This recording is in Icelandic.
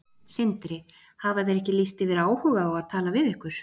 Sindri: Hafa þeir ekki lýst yfir áhuga á að tala við ykkur?